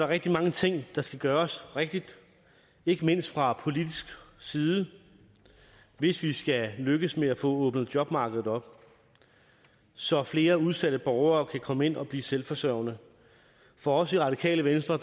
rigtig mange ting der skal gøres rigtigt ikke mindst fra politisk side hvis vi skal lykkes med at få åbnet jobmarkedet op så flere udsatte borgere kan komme ind og blive selvforsørgende for os i radikale venstre